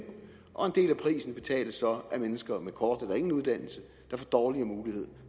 og en del af prisen betales så af mennesker med en kort eller ingen uddannelse der får dårligere mulighed